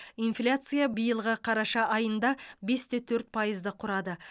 инфляция биылғы қараша айында бес те төрт пайызды құрады